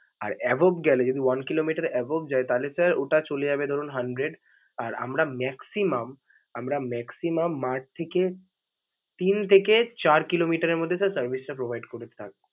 আর above গেলে যদি one kilometer above যায় তাহলে sir ওটা চলে যাবে ধরুন hundred. আর আমরা maximum আমরা maximum mart থেকে তিন থেকে চার কিলোমিটারের মধ্যে sir টা service করি provide ।